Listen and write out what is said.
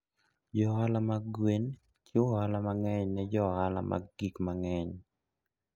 Jo ohala mag gwen chiwo ohala mang'eny ne jo ohala mag gik mang'eny.